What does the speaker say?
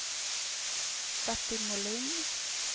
Bertil Molin